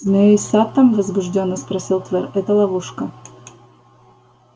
змеёй саттом возбуждённо спросил твер это ловушка